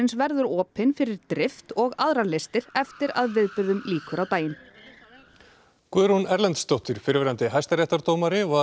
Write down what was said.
verður opin fyrir drift og aðrar listir eftir að viðburðum lýkur á daginn Guðrún Erlendsdóttir fyrrverandi hæstaréttardómari var